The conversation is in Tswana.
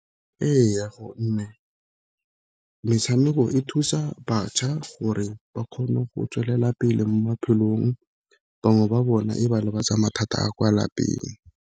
Ee, gonne metshameko e thusa bašwa gore ba kgone go tswelela pele mo maphelong, bangwe ba bona e ba lebatsa mathata a kwa lapeng.